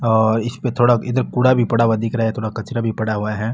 और इसपे थोड़ा इधर कूड़ा भी पड़ा हुआ दिख रहा है थोड़ा कचरा भी पड़ा हुआ है।